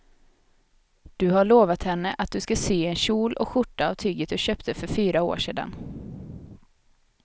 Du har lovat henne att du ska sy en kjol och skjorta av tyget du köpte för fyra år sedan.